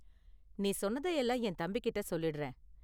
நீ சொன்னத எல்லாம் என் தம்பிகிட்ட சொல்லிடுறேன்.